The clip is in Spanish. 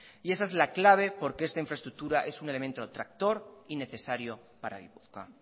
esa es la clave porque esta infraestructura es un elemento tractor y necesario para gipuzkoa